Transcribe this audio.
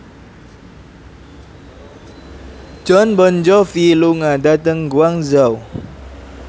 Jon Bon Jovi lunga dhateng Guangzhou